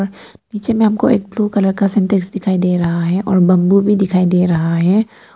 नीचे में हमको एक ब्लू कलर का सिंटेक्स दिखाई दे रहा है और बंबू भी दिखाई दे रहा है।